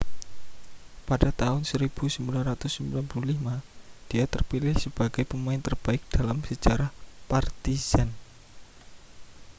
pada tahun 1995 dia terpilih sebagai pemain terbaik dalam sejarah partizan